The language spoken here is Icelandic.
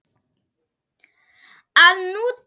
að nú dugi ekkert kák!